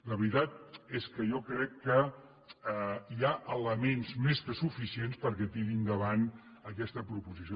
la veritat és que jo crec que hi ha elements més que suficients perquè tiri endavant aquesta proposició